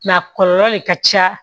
a kɔlɔlɔ de ka ca